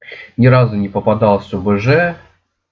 ни разу не попадался бж